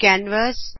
canvas